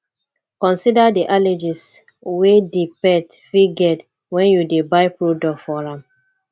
consider di allergies wey di pet fit get when you dey buy product for am